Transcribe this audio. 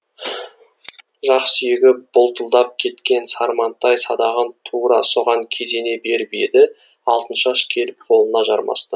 жақ сүйегі бұлтылдап кеткен сармантай садағын тура соған кезене беріп еді алтыншаш келіп қолына жармасты